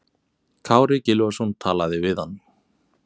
Kári Gylfason talaði við hann.